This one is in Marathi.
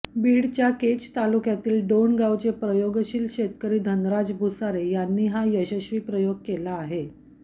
बीडच्या केज तालुक्यातील डोणगावचे प्रयोगशील शेतकरी धनराज भुसारे यांनी हा यशस्वी प्रयोग केला आहे